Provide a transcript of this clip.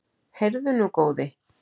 Heyrðu nú, góði!